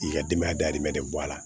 K'i ka denbaya dahirimɛ de bɔ a la